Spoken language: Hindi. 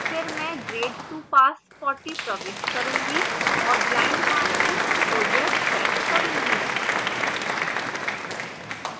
फिर मैं grade to pass 40 प्रविष्ट करूंगी और blind marking को yes set करूँगी